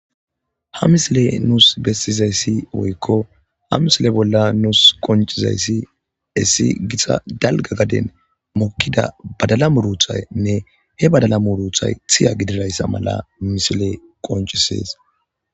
Ha misile nuus beetizayssi woykko ha misile bolla nuus qoncizayssi hessi gita dalgga gaden mokkida badala muruuthaynne he badala muruuthay thiya gididayssa mala misile qoncisees.